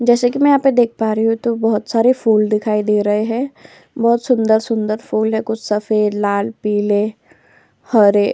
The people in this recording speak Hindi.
जैसे कि मैं यहाँ पर देख पा रहा हूं तो बहुत सारे फूल दिखाई दे रहे हैं। बहुत सुंदर सुंदर फूल हैं। कुछ सफेद लाल पीले हरे --